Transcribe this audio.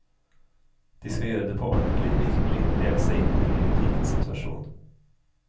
De skal gjøre det på ordentlig, virkelig leve seg inn i den lille pikens situasjon.